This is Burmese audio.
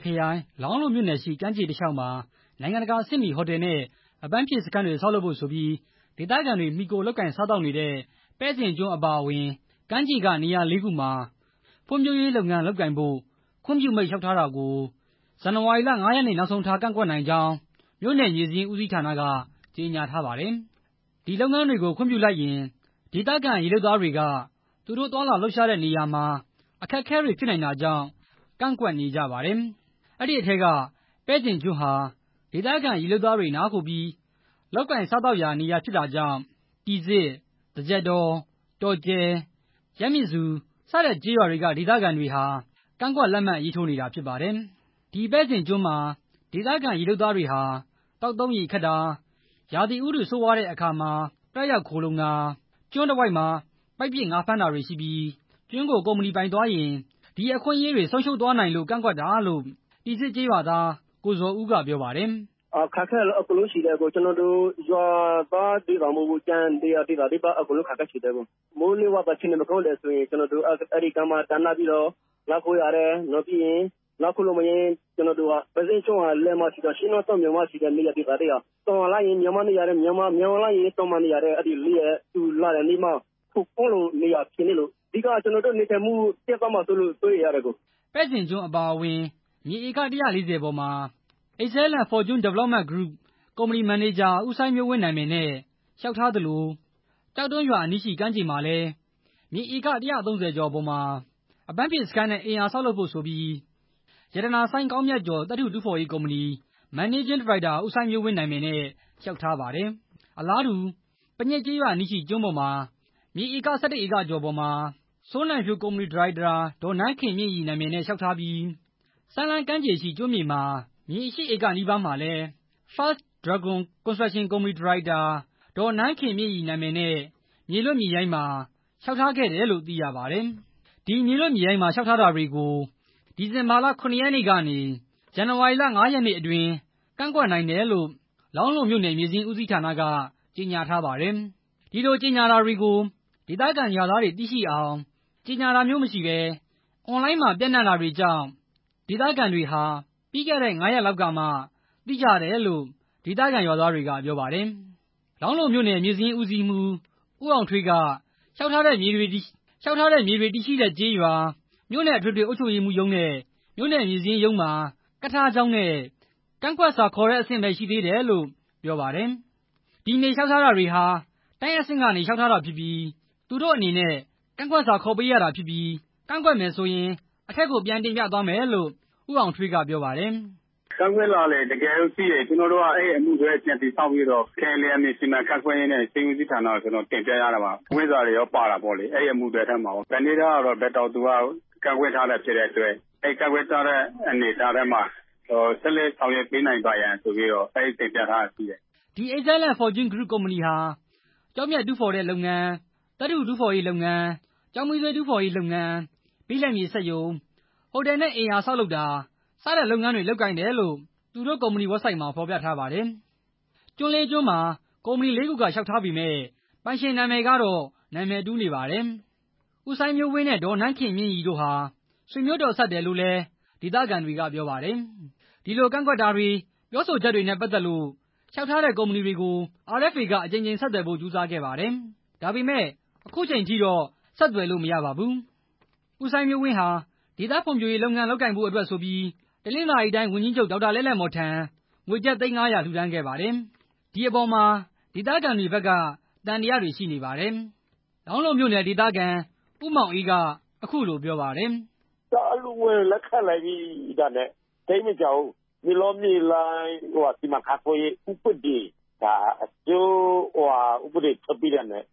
ခရိုင် လောင်းလုံးမြိုနယ်ရှိ ကမ်းခြေတလျောက်မှာ နိုင်ငံတကာအဆင့်မီဟိုတယ်နဲ့ အပန်းဖြေစခန်းတွေ ဆောက်လုပ်ဖို့ဆိုပြီး ဒေသခံတွေ မှီခိုလုပ်ကိုင်စားသောက်နေရတဲ့ ပဲ့ဇင်ကျွန်းအပါအဝင် ကမ်းခြေကနေရာ ၄ ခုမှာ ဖွံံ့ဖြိုးရေးလုပ်ငန်းလုပ်ငန်းဖို့ ခွင့်ပြုမိန့်လျှောက်ထားတာကို ဇန်နဝါရီလ ၅ ရက်နေ့နောက်ဆုံးထား ကန့်ကွက်နိုင်ကြောင်း မြို့နယ်မြေစာရင်းဦးစီးဌာက ကြေညာထားပါတယ်။ အဲဒီလုပ်ငန်းတွေကို ခွင့်ပြုလိုက်ရင် ဒေသခံရေလုပ်သားတွေက သူတို့သွားလာလှုပ်ရှားတဲ့နေရာမှာ အခက်အခဲတွေဖြစ်နိုင်တာကြောင့် ကန့်ကွက်နေကြပါတယ်။ ဒီအထဲက ပဲဇင်ကျွန်းဟာ ဒေသခံရေလုပ်သားတွေ နားခိုပြီး လုပ်ကိုင်စားသောက်ရာနေရာဖြစ်တာကြောင့် တီဇစ်၊ သကျက်တော၊တောကျဲ၊ ရမဇ္ဇူစတဲ့ကျေးရွာတွေက ဒေသခံတွေဟာ ကန့်ကွက်လက်မှတ် ရေးထိုးနေတာဖြစ်ပါတယ်။ ဒီပဲဇင်ကျွန်းမှာ ဒေသခံရေလုပ်သားတွေဟာ သောက်သုံးရေခပ်တာ၊ ရာသီဥတုဆိုးဝါးတဲ့အခါတွေမှာ တတ်ရောက်ခိုလှုံတာ၊ ကျွန်းတဝိုက်မှာ ပိုက်ပစ်ငါးဖမ်းတာတွေရှိပြီး ကျွန်းကိုကုမ္ပဏီကပိုင်ဆိုင်သွားရင် ဒီအခွင့်အရေးတွေ ဆုံးရှုံးသွားနိုင်လို့ ကန့်ကွက်တာလို့ တီဇစ်ကျေးရွာသား ကိုဇော်ဦးက ပြောပါတယ်။ "အခက်အခဲကတော့ အကုန်လုံးရှိတယ်၊ ကျနော်တို့ ရွာသားတွေထဲမဟုတ်ဘူး ၊ကျန်တဲ့ရွာသားတွေပါ အခက်အခဲရှိတယ၊် မိုးလေဝသမကောင်းရင် အဲကျွန်းမှာတတ်ပြီးနားခိုရတယ်၊ အဓိက ကျနော်တို့ေ နထိုင်မှုပျက်သွားမှာကို စိုးရိမ်တယ်" ပဲ့ဇင်ကျွန်းအပါအဝင်မြေဧက ၁၄၀ ပေါ်မှာ Excellent Fortune Development Group ကုမ္ပဏီမန်နေဂျာ ဦးစိုင်းမျိုးဝင်းနာမည်နဲ့ လျောက်ထားသလို ကျောက်တွင်းရွာအနီးရှိ ကမ်းခြေမှာလည်း မြေဧက ၁၃၀ ကျော်ပေါ်မှာ အပန်းဖြေစခန်းနဲ့ အိမ်ယာဆောက်လုပ်ဖို့ဆိုပြီး ရတာနာစိုင်းကောင်းမြတ်ကျော် သတ္ထုတူးဖော်ရေးကုမ္ပဏီ မန်နေဂျင်းဒါရိုက်တာ ဦးစိုင်းမျိုးဝင်းနာမည်နဲ့ လျောက်ထားပါတယ်။ အလားတူ ပညစ်ကျေးရွာအနီးရှိကျွန်းပေါ်မှာ မြေဧက ၁၁ ဧကကျော်ပေါ်မှာ စိုးနိုင်ဖြိုးကုမ္ပဏီဒါရိုက်တာ ဒေါ်နန်းခင်မြင့်ရီနာမည်နဲ့ လျောက်ထားပြီး စမ်းလှမ်းကမ်းခြေရှိ ကျွန်းမြေမှာ မြေ ၈ ဧကနီးပါးမှာလည်း First Dragon construction ကုမ္ပဏီဒါရိုက်တာ ဒေါ်နန်းခင်မြင့်ရီနာမည်နဲ့ဲ မြေလွတ်မြေရိုင်းမှာ လျောက်ထားခဲ့တယ်လို့ သိရပါတယ်။ ဒီမြေလွတ်မြေရိုင်းမှာ လျှောက်ထားတာတွေကို ဒီဇင်ဘာလ ၇ ရက်နေ့ကနေ ဇန်နဝါရီလ ၅ ရက်နေ့အတွင်း ကန့်ကွက်နိုင်တယ်လို့ လောင်းလုံးမြို့နယ် မြေစာရင်းဦးစီးဌာနက ကြေညာထားပါတယ်။ ဒီလို့ကြေညာတာတွေကို ဒေသခံရွာသားတွေ သိရှိအောင် ကြေညာတာမျိုးမရှိဘဲ အွန်လိုင်းမှာ ပျံနှံနေတာတွေကြောင့် ဒေသခံတွေဟာ ပြီးခဲ့တဲ့ ၅ ရက်လောကက်မှ သိကြတယ်လို့ ဒေသခံရွာသားတွေက ပြောပါတယ်။ လောင်းလုံးမြို့နယ် မြေစာရင်းဦးစီးမှူး ဦးအောင်ထွေးက လျှောက်ထားတ ဲ့မြေတွေတည်ရှိတဲ့ကျေးရွာ၊ မြို့နယ်အထွေထွေအုပ်ချုပ်ရေးရုံးနဲ့ မြို့နယ်မြေစာရင်းရုံးမှာ ကပ်ထားကြောင်းနဲ့ ကန့်ကွက်စာခေါ်တဲ့ အဆင့်ပဲရှိသေးတယ်လို့ ပြောပါတယ်။ ဒီမြေလျှောက်ထားတွေဟာ တိုင်းအဆင့်ကနေလျှောက်ထားတာဖြစ်ပြီး သူတို့အနေနဲ့ ကန့်ကွက်စာခေါ်ပေးရတာဖြစ်ပြီး ကန့်ကွက်မယ်ဆိုရင် အထက်ကိုပြန်တင်ပြသွားမယ်လို့ ဦးအောင်ထွေးက ပြောပါတယ်။ "ကန့်ကွက်လွှာတွေရှိရင် အဲအမှုတွဲကိုပြန်တည်ဆောက်ပြီး ခရိုင်လယ်ယာမြေစီမံခန့်ခွဲရေးနဲ့ မြေစာရင်းဦးစီးဌာနကို ပြန်တင်ပြရတယ်၊ ကန့်ကွက်စာတွေလည်း ပါတာပေါ့လေ၊ ဘယ်တောင်သူက ကန့်ကွက်ထားတယ်ဖြစ်တဲ့အတွက် ကန့်ကွက်ထားတဲ့အနေထားကို ဆက်လက်ဆောင်ရွက်နိုင်ပါရန်ဆိုပြီး တင်ပြထားတာရှိတယ်" ဒီ Excellent Forntune Group ကုမ္ပဏီဟာ ကျောက်မျက်တူးဖော်တဲ့လုပ်ငန်း၊ သတ္ထုတူးရေးလုပ်ငန်း၊ ကျောက်မီးသွေး တူးဖော်ရေးလုပ်ငန်း၊ ဘိလပ်မြေစက်ရုံ၊ ဟိုတယ်နဲ့ အိမ်ယာဆောက်လုပ်တာ စတဲ့လုပ်ငန်းတွေလုပ်ကိုင်တယ်လို့ သူတို့ကုမ္ပဏီဝက်ဆိုဒ်မှာ ဖော်ပြထားပါတယ်။ ကျွန်းလေးကျွန်းမှာ ကုမ္ပဏီလေးခုက လျှောက်ထားပေမယ့် ပိုင်ရှင်နာမည်ကတော့ နာမည်တူနေပါတယ်။ ဦးစိုင်းမျိုးဝင်းနဲ့ ဒေါ်နန်းခင်မြင့်ရီတို့ဟာ ဆွေမျိုးတော်စပ်တယ်လို့လည်း ဒေသခံတွေက ပြောပါတယ်။ ဒီလို့ကန့်ကွက်တာတွေ၊ ပြောဆိုချက်တွေနဲ့ပတ်သက်လို့ လျှောက်ထားတဲ့ကုမ္ပဏီတွေကို RFA က အကြိမ်ကြိမ်ဆက်သွယ်ဖို့ ကြိုးစားခဲ့ပါတယ်။ ဒါပေမဲ့ ခုချိန်ထိတော့ ဆက်သွယ်လို့ မရပါဘူး။ ဦးစိုင်းမျိုးဝင်းဟာ ဒေသဖွံ့ဖြိုးရေးလုပ်ငန်းလုပ်ကိုင်ဖို့အတွက်ဆိုပြီး တနင်္သာရီတိုင်းဝန်ကြီး ဒေါက်တာ လဲ့လဲ့မော်ထံ ငွေကျပ်သိန်း ၅၀၀ လှူဒါန်းခဲ့ပါတယ်။ ဒီအပေါ်မှာ ဒေသခံတွေဘက်က သံသယတွေရှိနေပါတယ်။ လောင်းလုံးမြို့နယ် ဒေသခံ ဦးမောင်အေးက ပြောပါတယ်။ "အလှူငွေကို လက်ခံလိုက်ပြီးတာနဲ့ သိပ်မကြာဘူး မြေလွတ်မြေလပ်စီမံခန့်ခွဲရေး ဥပဒေထွက်ပြီးတာနဲ့